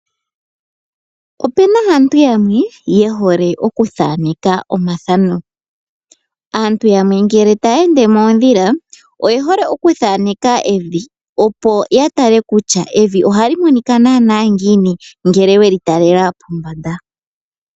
Opuna aantu yamwe ye hole okuthaaneka omathano. Aantu yamwe ngele taya ende moondhila oye hole okuthaneka evi opo ya tale kutya evi ohali monika naanaa ngiini ngele welitalela pombanda.